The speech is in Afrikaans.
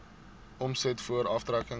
omset voor aftrekkings